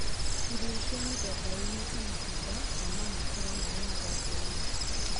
Irio cia mĩthemba ĩyo nĩ ta matunda, na no makorũo marĩ mathangũ-inĩ